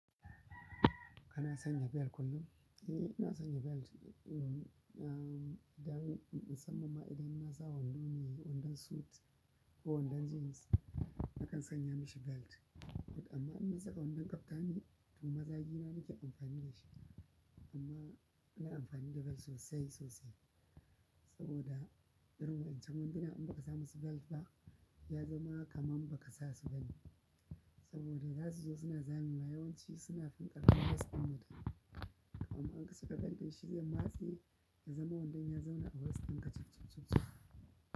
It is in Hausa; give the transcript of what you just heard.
Kana sanya belt kullum? Eh, ina sanya belt. Um, ah, idan, in mussaman ma idan na sa wando ne, wandon suit ko wandon jeans na kan sanya mashi belt. Amma in ya zamana na kaftan to managing na ke amfani da shi amma bana ina amfani da belt sosai sosai saboda irin wa'incan wanduna in ba ka sa musu belt ba, ya zama kamar ba ka sa su ba ne. Saboda za su zo suna zamewa yawanci suna fin ƙarfin waist ɗin mutum. Amma in ka saka belt ɗin shi zai matse ya zama wandon ya zauna a waist ɗinka cuff cuff ciff.